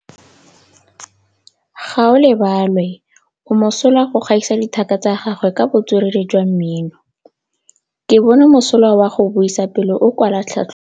Gaolebalwe o mosola go gaisa dithaka tsa gagwe ka botswerere jwa mmino. Ke bone mosola wa go buisa pele o kwala tlhatlhobô.